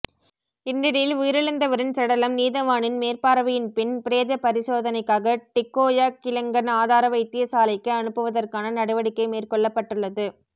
இந்நிலையில் உயிரிழந்தவரின் சடலம் நீதவானின் மேற்பார்வையின் பின் பிரேத பரிசோதனைக்காக டிக்கோயா கிளங்கன் ஆதார வைத்தியசாலைக்கு அனுப்புவதற்கான நடவடிக்கை மேற்கொள்ளப்பட்டுள்ளது